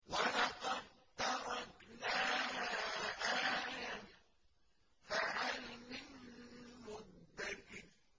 وَلَقَد تَّرَكْنَاهَا آيَةً فَهَلْ مِن مُّدَّكِرٍ